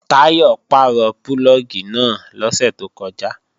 Táyọ̀ pàrọ̀ púlọ̀gì náà lọ́sẹ̀ tó kọjá